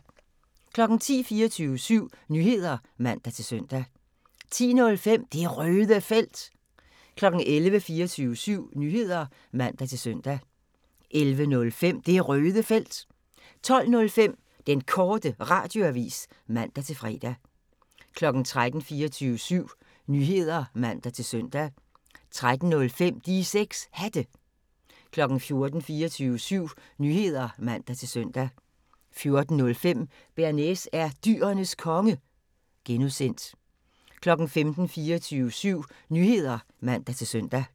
10:00: 24syv Nyheder (man-søn) 10:05: Det Røde Felt 11:00: 24syv Nyheder (man-søn) 11:05: Det Røde Felt 12:05: Den Korte Radioavis (man-fre) 13:00: 24syv Nyheder (man-søn) 13:05: De 6 Hatte 14:00: 24syv Nyheder (man-søn) 14:05: Bearnaise er Dyrenes Konge (G) 15:00: 24syv Nyheder (man-søn)